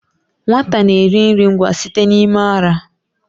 Nwata na-eri nri nwa site n'ime ara.